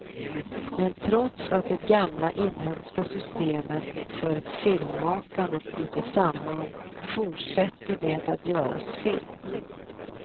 Men trots att det gamla inhemska systemet för filmmakande brutit samman fortsätter det att göras film.